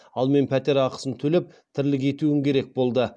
ал мен пәтер ақысын төлеп тірлік етуім керек болды